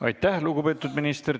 Aitäh, lugupeetud minister!